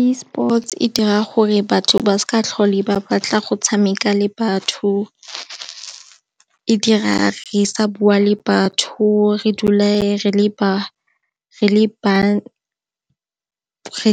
Esports e dira gore batho ba seka tlhola ba batla go tshameka le batho, e dira re sa bua le batho re dule re